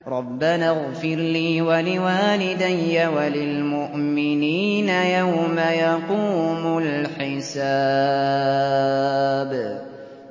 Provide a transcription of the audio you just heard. رَبَّنَا اغْفِرْ لِي وَلِوَالِدَيَّ وَلِلْمُؤْمِنِينَ يَوْمَ يَقُومُ الْحِسَابُ